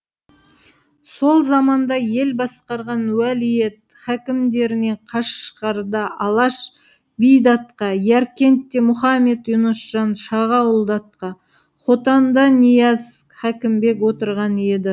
сол заманда ел басқарған уәлиет хәкімдерінен қашғарда алаш би датқа яркентте мұхаммед юнусжан шағауыл датқа хотанда нияз хәкімбек отырған еді